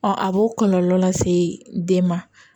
a b'o kɔlɔlɔ lase den ma